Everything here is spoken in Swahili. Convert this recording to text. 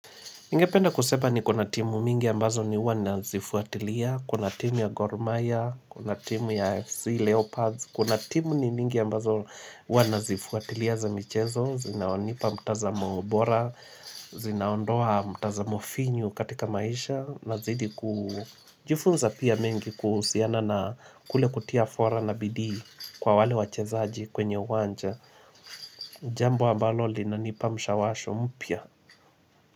Ningependa kusema niko na timu mingi ambazo ni huwa nazifuatilia, kuna timu ya Gormahia, kuna timu ya AFC Leopards, kuna timu ni mingi ambazo huwa nazifuatilia za michezo, zinaonipa mtazamo bora, zinaondoa mtazamo finyu katika maisha, nazidi kujifunza pia mengi kuhusiana na kule kutia fora na bidii kwa wale wachezaji kwenye uwanja, jambo ambalo linanipa mshawasho mpya.